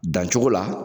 Dancogo la